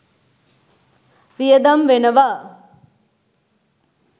වියදම් වෙනවා